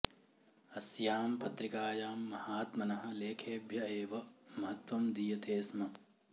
अस्यां पत्रिकायां महात्मनः लेखेभ्य एव महत्वं दीयते स्म